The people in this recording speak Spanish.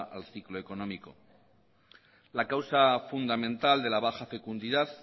al ciclo económico la causa fundamental de la baja fecundidad